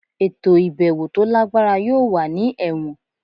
Eto ibẹwo to lagbara yoo wa ni Ẹwọn